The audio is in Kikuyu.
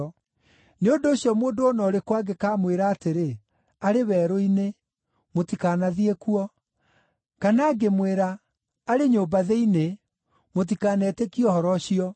“Nĩ ũndũ ũcio mũndũ o na ũrĩkũ angĩkamwĩra atĩrĩ, ‘Arĩ werũ-inĩ,’ mũtikanathiĩ kuo; kana angĩmwĩra, ‘Arĩ nyũmba thĩinĩ,’ mũtikanetĩkie ũhoro ũcio.